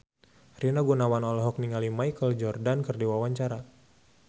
Rina Gunawan olohok ningali Michael Jordan keur diwawancara